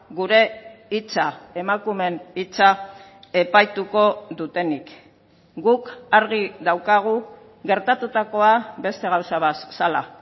gure hitza emakumeen hitza epaituko dutenik guk argi daukagu gertatutakoa beste gauza bat zela